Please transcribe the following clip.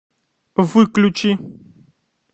выключи